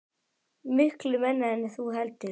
Miklu minna en þú heldur.